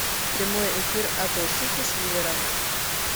прямой эфир апл сити с ливером